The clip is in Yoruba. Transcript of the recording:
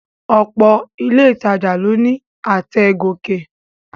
Ọ̀pọ̀ ilé ìtajà ló ní àtẹ̀ gòkè